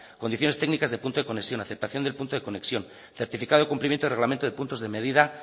condiciones técnicas del punto de conexión aceptación del punto de conexión certificado de cumplimiento y reglamento de puntos de medida